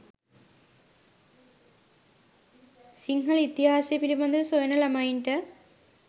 සිංහල ඉතිහාසය පිළිබදව සොයන ළමයින්ට